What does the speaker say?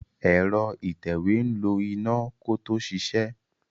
Ẹ̀rọ ìtẹ̀wé ń lo iná kó tó ṣiṣẹ́.